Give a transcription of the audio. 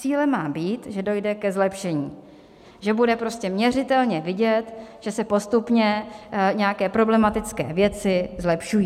Cílem má být, že dojde ke zlepšení, že bude prostě měřitelně vidět, že se postupně nějaké problematické věci zlepšují.